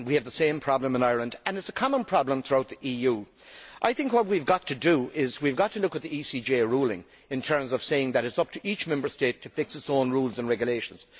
We have the same problem in Ireland and it is a common problem throughout the EU. I think we have got to look at the ECJ ruling in terms of saying that it is up to each Member State to fix its own rules and regulations.